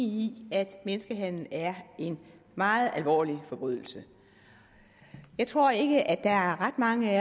i at menneskehandel er en meget alvorlig forbrydelse jeg tror ikke at der er ret mange af